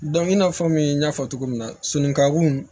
i n'a fɔ min n y'a fɔ cogo min na sunɔgɔkun